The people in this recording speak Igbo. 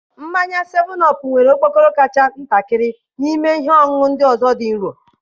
Mmanya 7OP nwere okpokoro kacha ntakịrị n'ime ihe ọṅụṅụ ndị ọzọ dị nro.